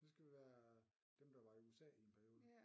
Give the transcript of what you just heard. Så skulle det være dem der var i USA i en periode